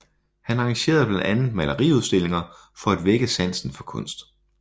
Han arrangerede blandt andet maleriudstillinger for at vække sansen for kunst